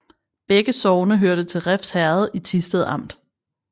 Begge sogne hørte til Refs Herred i Thisted Amt